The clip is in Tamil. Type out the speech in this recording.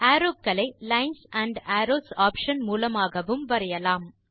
அரோவ் களை லைன்ஸ் ஆண்ட் அரோவ்ஸ் ஆப்ஷன் மூலமாகவும் வரையலாம்